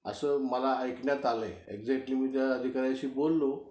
असं मला ऐकण्यात आलंय. एक्झॅटली मी त्या अधिकाऱ्याशी बोललो